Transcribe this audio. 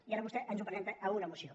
i ara vostè ens ho presenta a una moció